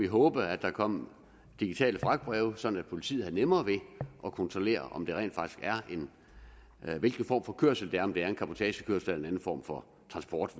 håbe at der kom digitale fragtbreve så politiet havde nemmere ved at kontrollere hvilken form for kørsel der om det er en cabotagekørsel eller en anden form for transport